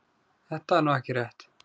Þetta er nú ekki rétt.